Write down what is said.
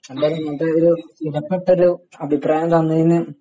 എന്തായാലും ഇങ്ങനത്തെ ഒരു വിലപ്പെട്ട ഒരു അഭിപ്രായം തന്നതിന്